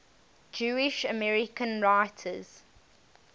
jewish american writers